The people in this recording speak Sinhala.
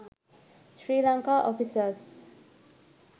sri lanka offices